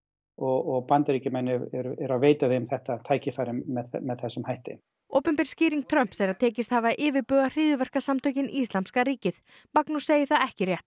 og Bandaríkjamenn eru eru að veita þeim þetta tækifæri með þessum hætti opinber skýring Trumps er að tekist hafi að yfirbuga hryðjuverkasamtökin Íslamska ríkið Magnús segir það ekki rétt